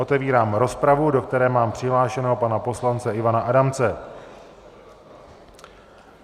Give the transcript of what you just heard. Otevírám rozpravu, do které mám přihlášeného pana poslance Ivana Adamce.